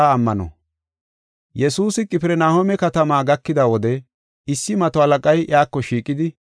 Yesuusi Qifirnahooma katama gakida wode, issi mato halaqay iyako shiiqidi,